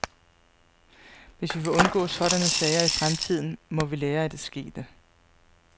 Hvis vi vil undgå sådanne sager i fremtiden, må vi lære af det skete.